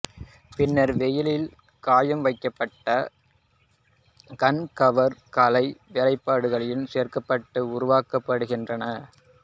பின்னர் வெயிலில் காய வைக்கப்பட்டு கண் கவர் கலை வேலைப்பாடுகள் சேர்க்கப்பட்டு உருவாக்கப்படுகின்றன